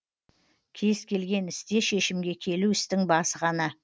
кез келген істе шешімге келу істің басы ғана